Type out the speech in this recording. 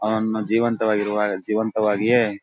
ಅವನನ್ನ ಜೀವಂತವಾಗಿರುವ ಜೀವಂತವಾಗಿಯೆ--